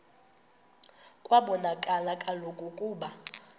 kwabonakala kaloku ukuba